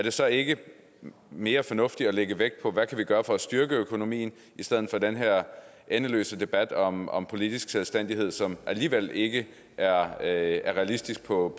det så ikke mere fornuftigt at lægge vægt på hvad vi kan gøre for at styrke økonomien i stedet for den her endeløse debat om om politisk selvstændighed som alligevel ikke er realistisk på